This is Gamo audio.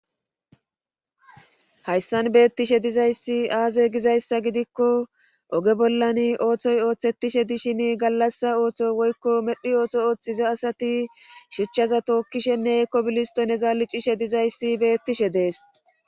Hayssan beettishe dizayssi aaze gizayssa gidikko oge bollan ooththoy ooththettishe dishin gallassa ooththo woykko medhi ooththo ooththiza asati shuchchaza tookkishenneekko bilisto ne zaali cishe dizayssi beettishe dees.